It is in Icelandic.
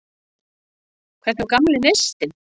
Hvar var gamli neistinn?